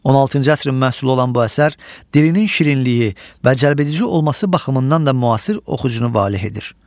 16-cı əsrin məhsulu olan bu əsər dilinin şirinliyi və cəlbedici olması baxımından da müasir oxucunu valeh edir.